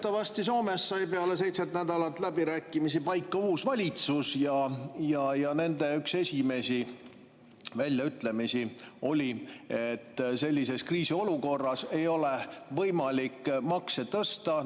Teatavasti Soomes sai peale seitset nädalat läbirääkimisi paika uus valitsus ja üks nende esimesi väljaütlemisi oli, et sellises kriisiolukorras ei ole võimalik makse tõsta.